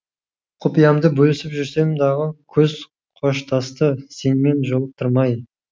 құпиямды бөлісіп жүрсем дағы күз қоштасты сенімен жолықтырмай